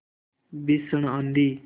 भीषण आँधी